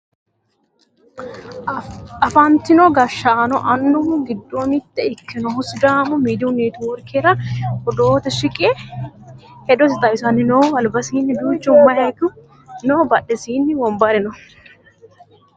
afantino gashshaanonna annuwu giddo mitto ikkinohu sidaamu miidiyu netiworkera odoote shiqe hedosi xawisanni no albasiinni duuchu mayiiku no badhesiinni wonbare no